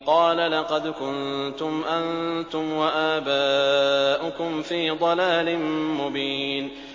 قَالَ لَقَدْ كُنتُمْ أَنتُمْ وَآبَاؤُكُمْ فِي ضَلَالٍ مُّبِينٍ